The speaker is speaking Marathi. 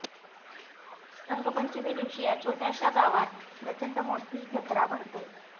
रंगपंचमी दिवशी या छोट्याशा गावात प्रचंड मोठी जत्रा भरते